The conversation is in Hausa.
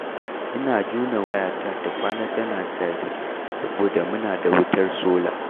Ina jona wayata ta kwana tana caji, saboda muna da wutar sola.